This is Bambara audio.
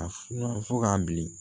A funan fɔ k'a bilen